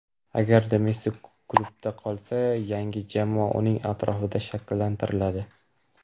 Agarda Messi klubda qolsa, yangi jamoa uning atrofida shakllantiriladi.